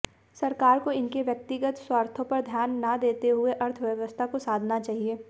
सरकार को इनके व्यक्तिगत स्वार्थों पर ध्यान न देते हुए अर्थव्यवस्था को साधना चाहिए